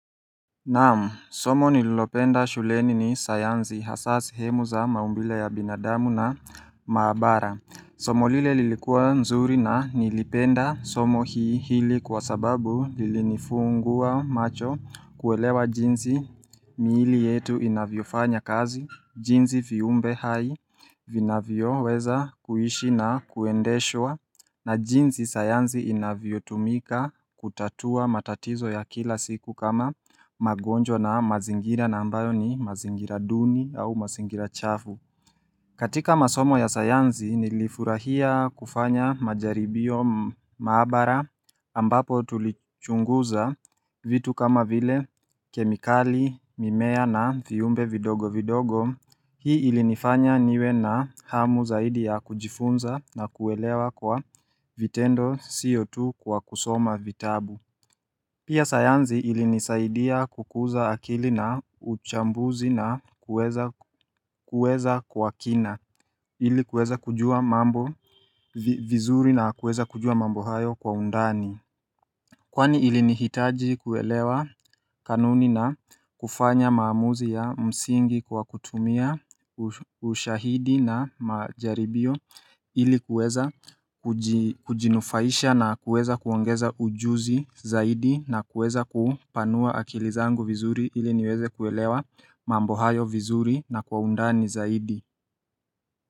Naam, somo nililopenda shuleni ni sayanzi hasa sehemu za maumbile ya binadamu na maabara Somo lile lilikuwa nzuri na nilipenda somo hii hili kwa sababu lili nifungua macho kuwelewa jinzi miili yetu inavyofanya kazi, jinzi viumbe hai vinavyo weza kuishi na kuendeshwa na jinzi sayanzi inavyotumika kutatua matatizo ya kila siku kama magonjwa na mazingira na ambayo ni mazingira duni au mazingira chafu katika masomo ya sayanzi nilifurahia kufanya majaribio maabara ambapo tulichunguza vitu kama vile kemikali mimea na viumbe vidogo vidogo Hii ilinifanya niwe na hamu zaidi ya kujifunza na kuelewa kwa vitendo sio tu kwa kusoma vitabu Pia sayanzi ilinisaidia kukuza akili na uchambuzi na kuweza kwa kina ili kuweza kujua mambo vizuri na kuweza kujua mambo hayo kwa undani Kwani ilinihitaji kuelewa kanuni na kufanya maamuzi ya msingi kwa kutumia ushahidi na majaribio ilikuweza kujinufaisha na kuweza kuongeza ujuzi zaidi na kuweza kupanua akilizangu vizuri iliniweze kuelewa mambo hayo vizuri na kwaundani zaidi.